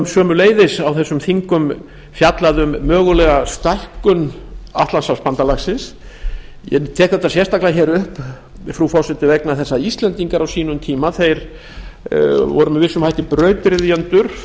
sömuleiðis á þessum þingum fjallað um mögulega stækkun atlantshafsbandalagsins ég tek þetta sérstaklega hér upp frú forseti vegna þess að íslendingar á sínum tíma voru með vissum hætti brautryðjendur